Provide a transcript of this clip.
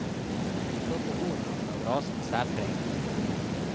De flotte horna gav rasen særpreg.